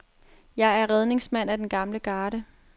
Jeg er redningsmand af den gamle garde.